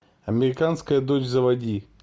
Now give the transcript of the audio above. американская дочь заводи